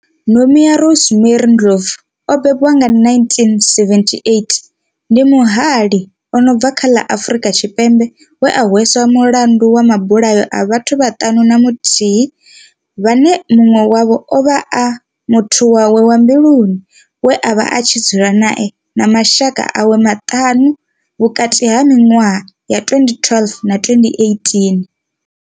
Nomia Rosemary Ndlovu o bebiwaho nga, 1978, ndi muhalii a no bva kha ḽa Afrika Tshipembe we a hweswa mulandu wa mabulayo a vhathu vhaṱanu na muthihi vhane muṅwe wavho ovha a muthu wawe wa mbiluni we avha a tshi dzula nae na mashaka awe maṱanu, vhukati ha miṅwaha ya 2012 na 2018.